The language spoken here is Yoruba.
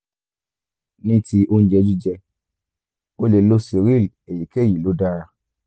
ní ti oúnjẹ jíjẹ o lè lo cereal èyíkéyìí ló dára